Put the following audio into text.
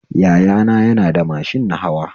Yaya na yana da mashin nahawa